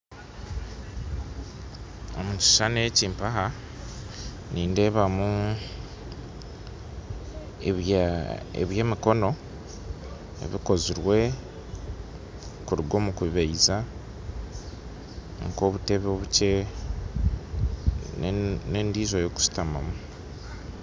Omu kishushani eki mpaha nindeebamu eby'emikono ebikozirwe kuruga omu kubaija nk'obutebe obukye nendiijo ey'okushutamamu